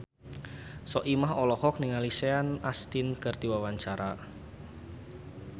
Soimah olohok ningali Sean Astin keur diwawancara